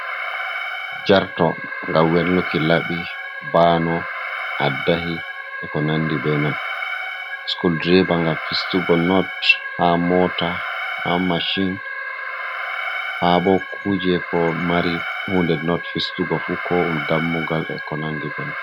Jarto ngam wenluki laɓi ,bano ,addahi e ko nandi be non. Sikul direba ngam fistugo not ,haa moota haa macin, haa bo kuje ko mari hunde not fistugo fu. Ko ɗum dammugal e ko nandi be non.